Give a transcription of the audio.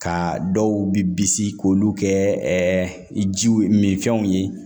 Ka dɔw bi bisi k'olu kɛ jiw minfɛnw ye